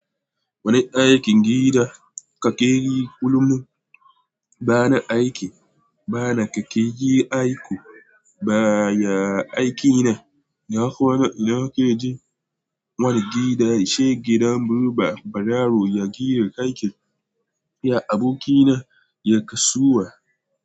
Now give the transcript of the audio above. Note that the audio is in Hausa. Wani aikin gida ka kakeyi kullum. Ba na aiki, bana kakeyi aiku ba, ya aikina. Na kwana ina keji wani gida ya sha gidan murba. Barawo yaje ya aikin, ya abokina ya kasuwa.